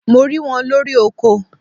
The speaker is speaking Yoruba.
Mo ri wọn lori oko